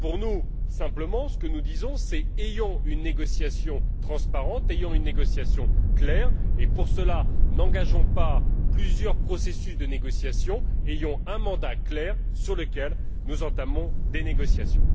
Nous disons simplement ayons une négociation transparente, ayons une négociation claire et, pour cela, n'engageons pas plusieurs processus de négociation, ayons un mandat clair sur lequel nous entamons des négociations.